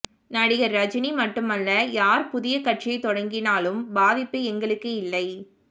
நடிகர் ரஜினி மட்டுமல்ல யார் புதிய கட்சியை தொடங்கினாலும் பாதிப்பு எங்களுக்கு இல்லை